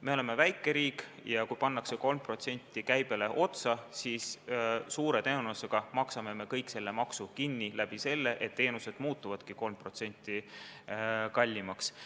Me oleme väike riik ja kui pannakse 3% käibelt võetavale summale otsa, siis suure tõenäosusega maksame me kõik selle maksu kinni sel moel, et teenused muutuvad 3% kallimaks.